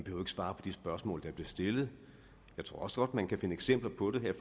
svare på de spørgsmål der bliver stillet jeg tror også godt man kan finde eksempler på det her